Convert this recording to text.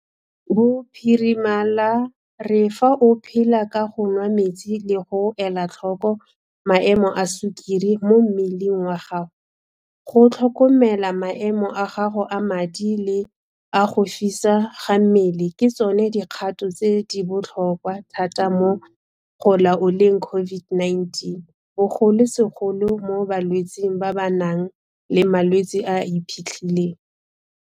Bophirima la re fa o phela ka go nwa metsi le go ela tlhoko maemo a sukiri mo mmeleng wa gago, go tlhokomela maemo a gago a madi le a go fisa ga mmele ke tsona dikgato tse di botlhokwa thata mo go laoleng COVID-19, bogolosegolo mo balwetseng ba ba nang le malwetse a a iphitlhileng.